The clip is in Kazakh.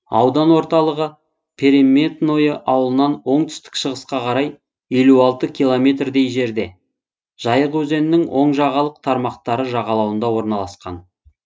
аудан орталығы переметное ауылынан оңтүстік шығысқа қарай елу алты километр дей жерде жайық өзенінің оң жағалық тармақтары жағалауында орналасқан